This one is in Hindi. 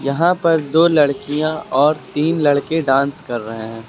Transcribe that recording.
यहां पर दो लड़कियां और तीन लड़के डांस कर रहे हैं।